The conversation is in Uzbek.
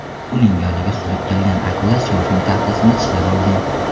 Uning yoniga suzib kelgan akula syorfing taxtasini tishlab olgan.